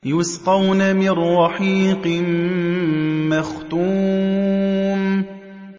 يُسْقَوْنَ مِن رَّحِيقٍ مَّخْتُومٍ